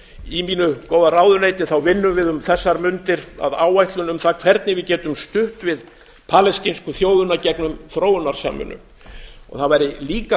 í mínu góða ráðuneyti vinnum við um þessar mundir að áætlun um það hvernig við getum stutt við palestínsku þjóðina gegnum þróunarsamvinnu það væri líka